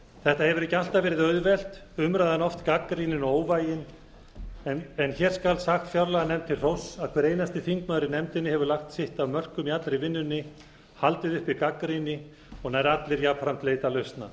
þetta hefur ekki alltaf verið auðvelt umræðan oft gagnrýnin og óvægin en hér skal sagt fjárlaganefnd til hróss að hver einasti þingmaður í nefndinni hefur lagt sitt af mörkum í allri vinnunni haldið uppi gagnrýni og nær allir jafnframt leitað lausna